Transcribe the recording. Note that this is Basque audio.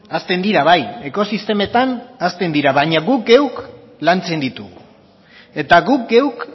hazten dira bai ekosistemetan hazten dira baina guk geuk lantzen ditugu eta guk geuk